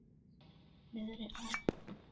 Niðri á